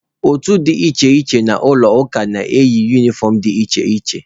Otu dị iche iche n'ụlọ ụka na-eyi unifọm dị iche iche.